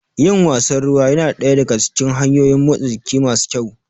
Yin wasan ruwa ya na daya daga cikin hanyoyin motsa jiki masu kyau.